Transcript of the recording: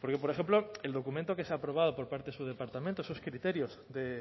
porque por ejemplo el documento que se ha aprobado por parte de su departamento esos criterios de